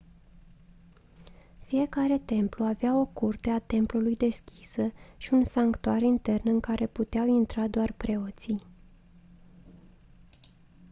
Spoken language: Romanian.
fiecare templu avea o curte a templului deschisă și un sanctuar intern în care puteau intra doar preoții